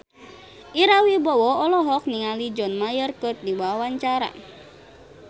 Ira Wibowo olohok ningali John Mayer keur diwawancara